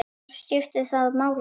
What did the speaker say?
Já, skiptir það máli?